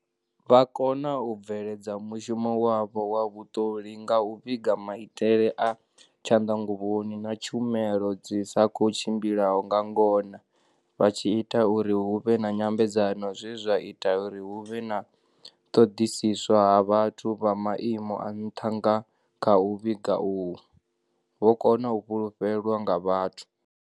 Vho kona u bveledza mushumo wavho wa vhuṱoli nga u vhiga maitele a tshanḓanguvhoni, na tshumelo dzi sa khou tshimbilaho nga ngona, vha tshi ita uri hu vhe na nyambedzano zwe zwa ita u ri hu vhe na u ṱoḓisiswa ha vhathu vha maimo a nṱha nga kha u vhiga uhu, vho kona u fulufhelwa nga vhathu.